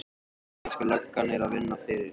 Íslenska löggan er að vinna fyrir